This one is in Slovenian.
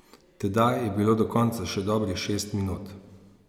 Tedaj je bilo do konca še dobrih šest minut.